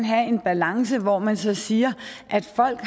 have er en balance hvor man så siger at folk